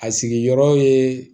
A sigiyɔrɔ ye